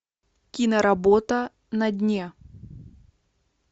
киноработа на дне